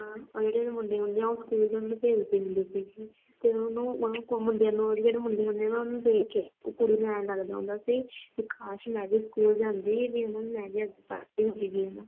ਹਾਂ ਉਹਦੇ ਜਿਹੜੇ ਮੁੰਡੇ ਹੁੰਦੇ ਆ ਸਕੂਲ ਭੇਜਦੀ ਹੁੰਦੀ ਸੀਗੀ ਤੇ ਉਹਨੂੰ ਆ ਮੁੰਡਿਆਂ ਨੂੰ ਉਹਦੇ ਜਿਹੜੇ ਮੁੰਡਿਆਂ ਨੂੰ ਦੇਖ ਕੇ ਕੁੜੀ ਨੂੰ ਏਂ ਲਗਦਾ ਹੁੰਦਾ ਸੀ ਕੀ ਕਾਸ਼ ਮੈਂ ਵੀ ਸਕੂਲ ਜਾਂਦੀ ਵੀ ਹਨਾ ਮੈਂ ਵੀ ਪੜ੍ਹਦੀ ਹੁੰਦੀ ਜੇ